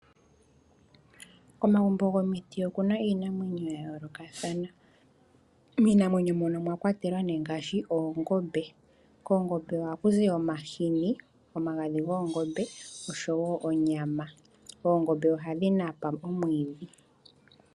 Komagumbo gomiti okuna iinamwenyo yayoolokathana, miinamwenyo mono omwakwatelwa ngaashi oongombe moongombe ohamu zi omahini, omagadhi goongombe noshowo onyama. Oongombe ohadhi napa omwiidhi.